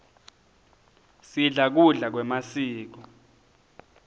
sidla kudla kwemasiko